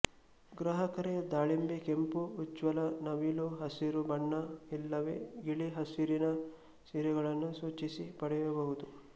ಗ್ರಾಹಕರು ದಾಳಿಂಬೆ ಕೆಂಪು ಉಜ್ವಲ ನವಿಲು ಹಸಿರು ಬಣ್ಣ ಇಲ್ಲವೇ ಗಿಳಿ ಹಸುರಿನ ಸೀರೆಗಳನ್ನು ಸೂಚಿಸಿ ಪಡೆಯಬಹುದು